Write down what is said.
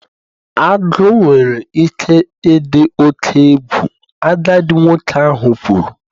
Agu nwere ike ịdị oke egwu, agadi nwoke ahụ kwuru